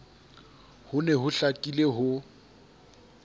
ho ne ho hlakile ho